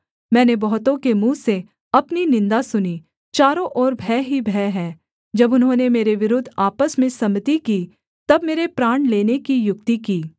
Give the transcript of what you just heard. मैंने बहुतों के मुँह से अपनी निन्दा सुनी चारों ओर भय ही भय है जब उन्होंने मेरे विरुद्ध आपस में सम्मति की तब मेरे प्राण लेने की युक्ति की